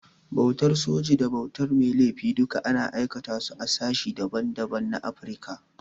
Bautar soji da bautar mai laifi duka ana aikata su a sashen da ban da ban na Afrika.